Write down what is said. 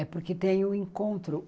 É porque tem o encontro.